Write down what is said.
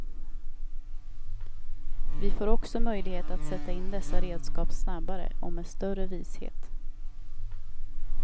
Vi får också möjlighet att sätta in dessa redskap snabbare och med större vishet.